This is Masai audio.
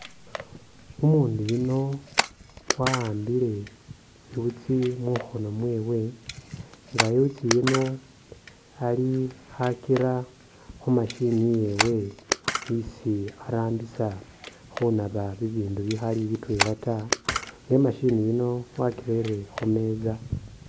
Umundu yuuno wa'ambile iwutsi mukhono mwewe nga iwutsi yiino ali khakira khu'machine yewe isi arambisa khunaba bibindu bikhali bitwela taa elah e'machine yiino wakirere khumeza